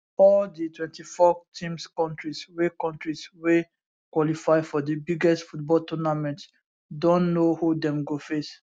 all di 24 teams kontris wey kontris wey qualify for di biggest football tournament don know who dem go face